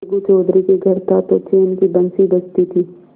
अलगू चौधरी के घर था तो चैन की बंशी बजती थी